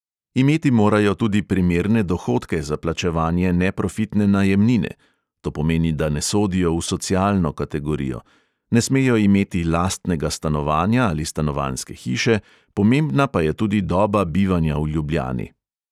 Imeti morajo tudi primerne dohodke za plačevanje neprofitne najemnine (to pomeni, da ne sodijo v socialno kategorijo), ne smejo imeti lastnega stanovanja ali stanovanjske hiše, pomembna pa je tudi doba bivanja v ljubljani.